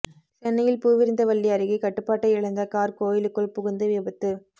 சென்னையில் பூவிருந்தவல்லி அருகே கட்டுப்பாட்டை இழந்த கார் கோயிலுக்குள் புகுந்து விபத்து